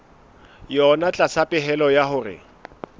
yona tlasa pehelo ya hore